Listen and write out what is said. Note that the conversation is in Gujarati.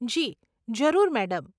જી, જરૂર, મેડમ.